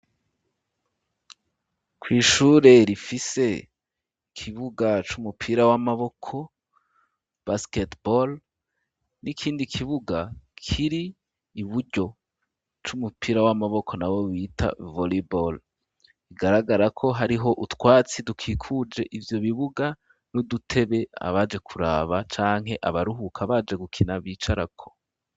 Kw'ishure rifise kibuga c'umupira w'amaboko basketebore, n'ikindi kibuga kiri iburyo c'umupira w'amaboko na we wita voliboro igaragara ko hariho utwatsi dukikuje ivyo bibuga, n'udutebe abaje kuraba canke abaruhuka baje gukina bicarako.